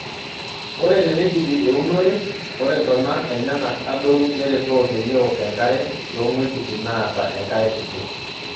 Ore teneidipi eunore ,ore ntona enyanak aadoru neretoo peyie eok enkare toong'uejitin naata enkare kiti.